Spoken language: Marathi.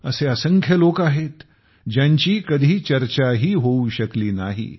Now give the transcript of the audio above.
असे असंख्य लोक आहेत ज्यांची कधी चर्चाही होऊ शकली नाही